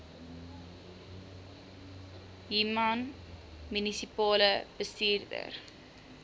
human munisipale bestuurder